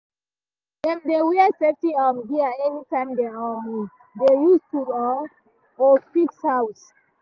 dem dey wear safety um gear anytime dem um dey use tool um or fix house.